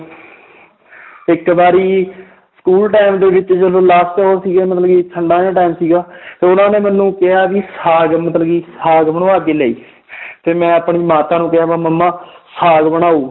ਇੱਕ ਵਾਰੀ school time ਦੇ ਵਿੱਚ ਜਦੋਂ last ਉਹ ਸੀਗੇ ਮਤਲਬ ਕਿ ਠੰਢਾਂ ਦਾ time ਸੀਗਾ ਤਾਂ ਉਹਨਾਂ ਨੇ ਮੈਨੂੰ ਕਿਹਾ ਵੀ ਸਾਘ ਮਤਲਬ ਕਿ ਸਾਘ ਬਣਵਾ ਕੇ ਲਿਆਈ ਤੇ ਮੈਂ ਆਪਣੀ ਮਾਤਾ ਨੂੰ ਕਿਹਾ ਮੰਮਾ ਸਾਘ ਬਣਾਓ